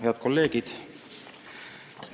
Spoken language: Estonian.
Head kolleegid!